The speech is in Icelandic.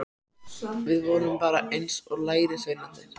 Við vorum bara eins og lærisveinarnir.